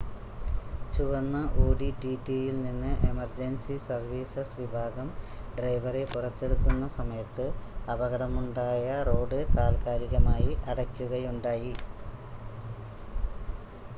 ചുവന്ന ഓഡി ടിടിയിൽ നിന്ന് എമർജൻസി സർവീസസ് വിഭാഗം ഡ്രൈവറെ പുറത്തെടുക്കുന്ന സമയത്ത് അപകടമുണ്ടായ റോഡ് താൽക്കാലികമായി അടയ്ക്കുകയുണ്ടായി